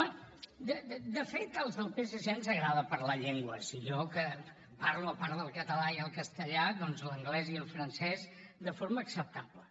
bé de fet als del psc ens agrada parlar llengües i jo que parlo a part del català i el castellà doncs l’anglès i el francès de forma acceptable